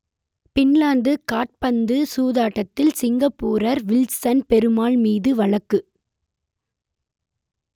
Finland காற்பந்து சூதாட்டத்தில் சிங்கப்பூரர் வில்சன் பெருமாள் மீது வழக்கு